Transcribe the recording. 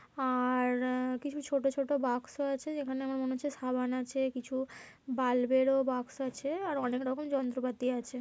আর-র-- কিছু ছোট ছোট বাক্স আছে যেখানে আমার মনে হচ্ছে সাবান আছে কিছু বাল্ব এরও বাক্স আছে আর অনেক রকম যন্ত্রপাতি আছে।